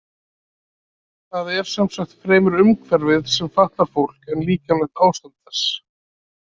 Það er sem sagt fremur umhverfið sem fatlar fólk en líkamlegt ástand þess.